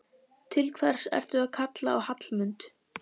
Til hvers ertu að kalla á Hallmund?